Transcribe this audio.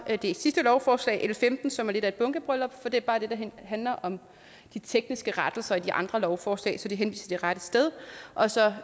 det sidste lovforslag l femten som er lidt af et bunkebryllup for det er bare det der handler om de tekniske rettelser i de andre lovforslag så det henviser til rette sted og så